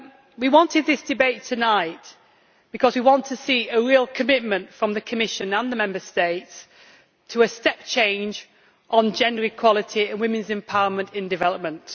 We wanted this debate tonight because we want to see a real commitment from the Commission and the Member States to a step change on gender equality and women's empowerment in development.